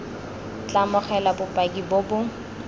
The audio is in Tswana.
tla amogela bopaki bo bo